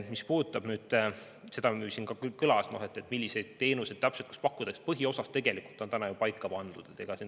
Mis puudutab seda, mis siin juba kõlas, et milliseid teenuseid täpselt võiks pakkuda, siis põhiosas on see tegelikult ju paika pandud.